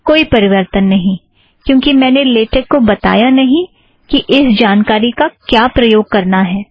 कोई परिवर्तन नहीं क्योंकि मैंने लेटेक को बताया नहीं कि इस जानकारी का क्या प्रयोग करना है